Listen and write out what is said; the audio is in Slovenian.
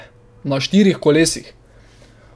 Na štirih kolesih.